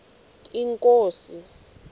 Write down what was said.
inkosi